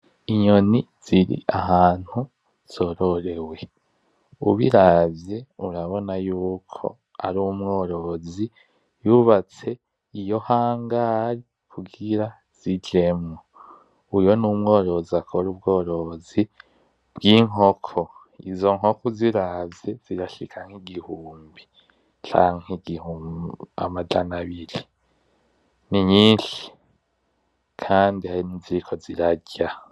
Inyoni ziri ahantu zororewe, ubiravye urabona yuko ari umworozi yubatse iyo hangare kugira zijemwo, uyo numworozi akora ubworozi bwinkoko, izo nkoko uziravye zirashika nkigihumbi canke amajana abiri, ni nyinshi kandi hari niziriko zirarya.